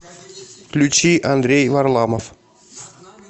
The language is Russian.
включи андрей варламов